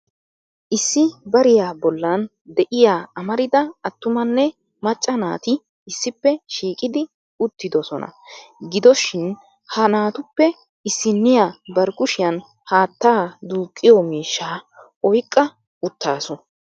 Issi bariyaa bollan de'iyaa amarida attumanne maccaa naati issippe shiiqidi uttidoosona. Gidoshin ha naatuppe issiniyaa bari kushiyaan haatta duuqiyo miishsha oyqqa uttaasu.